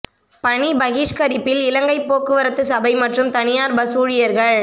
பணி பகிஷ்கரிப்பில் இலங்கை போக்குவரத்து சபை மற்றும் தனியார் பஸ் ஊழியர்கள்